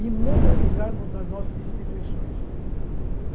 E moralizarmos as nossas instituições.